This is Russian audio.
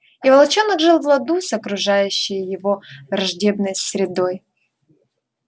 и волчонок жил в ладу с окружающей его враждебной средой